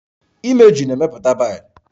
Imeju na-emepụta bailu